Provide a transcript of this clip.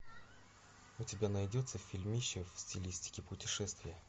у тебя найдется фильмище в стилистике путешествие